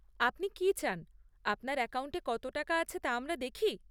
আপনি কি চান আপনার অ্যাকাউন্টে কত আছে তা আমরা দেখি?